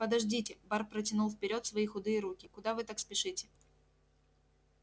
подождите бар протянул вперёд свои худые руки куда вы так спешите